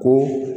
Ko